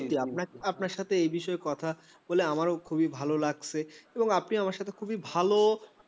সত্যিই আপনার সাথে এ বিষয়ে কথা আমারও খুবই ভালো লাগছে এবং আপনি আমার সাথে খুবই ভালো